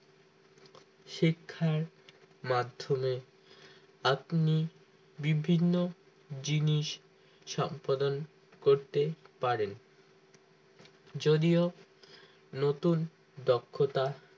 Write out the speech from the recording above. শিক্ষার মাধ্যমে আপনি বিভিন্ন জিনিস সম্পাদন করতে পারেন যদিও নতুন দক্ষতা